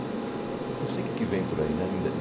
Então, não sei o que é que vem por aí, né? Ainda